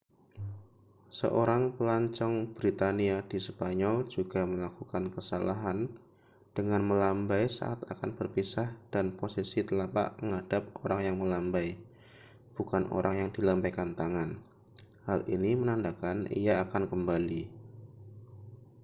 seorang pelancong britania di spanyol juga melakukan kesalahan dengan melambai saat akan berpisah dan posisi telapak menghadap orang yang melambai bukan orang yang dilambaikan tangan. hal ini menandakan ia akan kembali